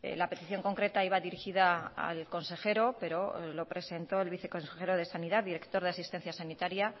la petición concreta iba dirigida al consejero pero lo presentó el viceconsejero de sanidad director de asistencia sanitaria